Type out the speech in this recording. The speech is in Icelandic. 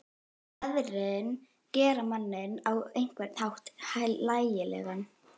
Veðrin gera manninn á einhvern hátt hlægilegan.